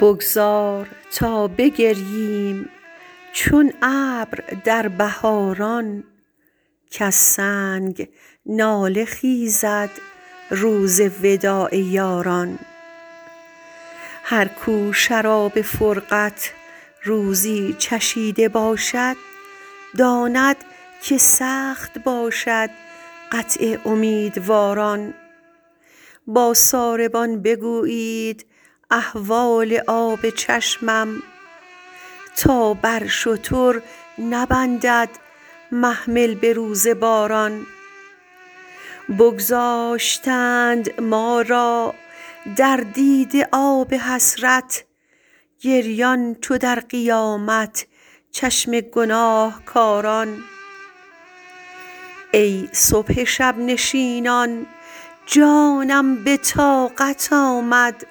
بگذار تا بگرییم چون ابر در بهاران کز سنگ گریه خیزد روز وداع یاران هر کو شراب فرقت روزی چشیده باشد داند که سخت باشد قطع امیدواران با ساربان بگویید احوال آب چشمم تا بر شتر نبندد محمل به روز باران بگذاشتند ما را در دیده آب حسرت گریان چو در قیامت چشم گناهکاران ای صبح شب نشینان جانم به طاقت آمد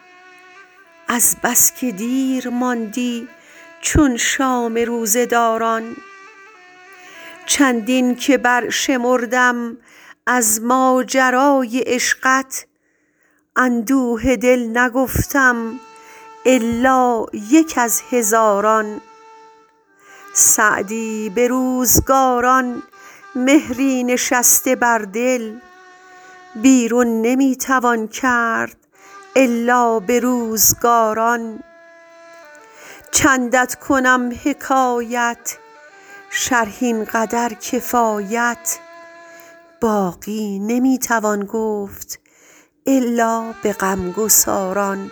از بس که دیر ماندی چون شام روزه داران چندین که برشمردم از ماجرای عشقت اندوه دل نگفتم الا یک از هزاران سعدی به روزگاران مهری نشسته در دل بیرون نمی توان کرد الا به روزگاران چندت کنم حکایت شرح این قدر کفایت باقی نمی توان گفت الا به غمگساران